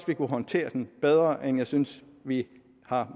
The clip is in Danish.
vi kunne håndtere den bedre end jeg synes vi har